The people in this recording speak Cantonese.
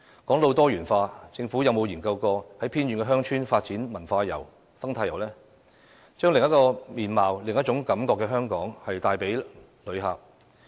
說到"多元化"，政府曾否研究在偏遠鄉村發展文化遊及生態遊，以向旅客展示香港的另一個面貌、另一種感覺呢？